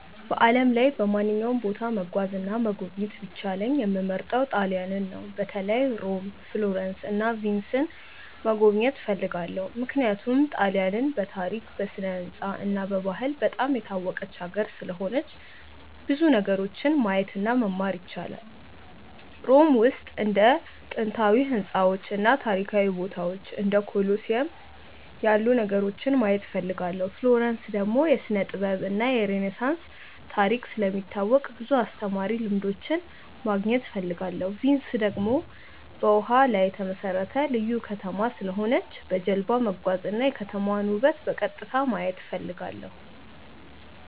በዓለም ላይ በማንኛውም ቦታ መጓዝ እና መጎብኘት ቢቻለኝ የምመርጠው ጣሊያንን ነው። በተለይ ሮም፣ ፍሎረንስ እና ቪንስን መጎብኘት እፈልጋለሁ። ምክንያቱም ጣሊያንን በታሪክ፣ በስነ-ሕንፃ እና በባህል በጣም የታወቀች ሀገር ስለሆነች ብዙ ነገሮችን ማየት እና መማር ይቻላል። ሮም ውስጥ እንደ ጥንታዊ ሕንፃዎች እና ታሪካዊ ቦታዎች እንደ ኮሎሲየም ያሉ ነገሮችን ማየት እፈልጋለሁ። ፍሎረንስ ደግሞ የስነ-ጥበብ እና የሬነሳንስ ታሪክ ስለሚታወቅ ብዙ አስተማሪ ልምዶች ማግኘት እፈልጋለሁ። ቪንስ ደግሞ በውሃ ላይ የተመሠረተ ልዩ ከተማ ስለሆነች በጀልባ መጓዝ እና የከተማዋን ውበት በቀጥታ ማየት እፈልጋለሁ።